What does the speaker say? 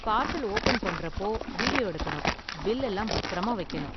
Parcel open பண்றப்போ video எடுக்கணும், bill எல்லாம் பத்திரமா வைக்கணும்.